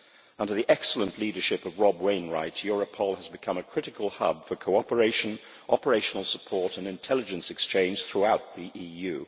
Under the excellent leadership of Rob Wainwright, Europol has become a critical hub for cooperation, operational support and intelligence exchange throughout the EU.